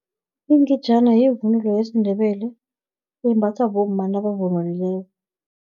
Ingejana, yivunulo yesindebele, embathwa bomma, nabavunulileyo.